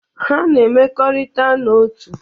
Ha na-emekọrita n'otu.